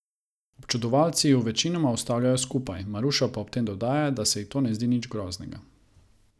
Občudovalci ju večinoma ustavljajo skupaj, Maruša pa ob tem dodaja, da se ji to ne zdi nič groznega.